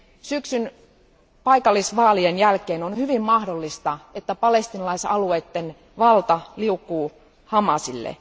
Syksyn paikallisvaalien jälkeen on hyvin mahdollista, että palestiinalaisalueitten valta liukuu Hamasille.